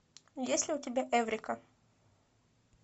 есть ли у тебя эврика